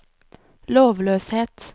lovløshet